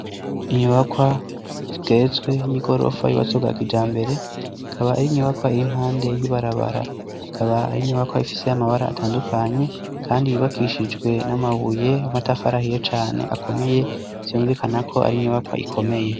Inyubakwa zigeretswe y'igorofa y'ubatswe bwa kijambere, ikaba ari inyubakwa iri impande y'ibarabara. Akaba ari inyubakwa ifise amabara atandukanye, kandi yubakishijwe n'amabuye y'amatafari ahiye cane akomeye, vyumvikana ko ari inyubakwa ikomeye.